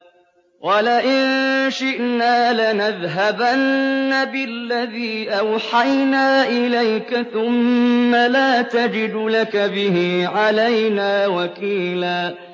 وَلَئِن شِئْنَا لَنَذْهَبَنَّ بِالَّذِي أَوْحَيْنَا إِلَيْكَ ثُمَّ لَا تَجِدُ لَكَ بِهِ عَلَيْنَا وَكِيلًا